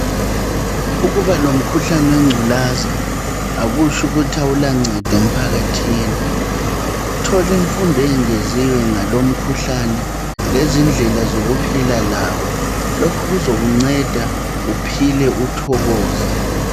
Ukuba lomkhuhlane wechulaza akutsho ukuthi awulancedo emphakathini thola imfundo engeziwe ngalomkhuhlane lezindlela zokuphila lawo lokhu kuzokunceda uphile uthokoza.